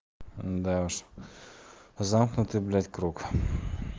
да уж замкнутый блять круг